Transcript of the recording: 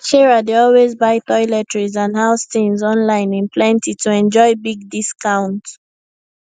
sarah dey always buy toiletries and house things online in plenty to enjoy big discount